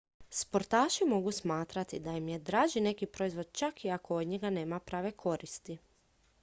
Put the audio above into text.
sportaši mogu smatrati da im je draži neki proizvod čak i ako od njega nema prave koristi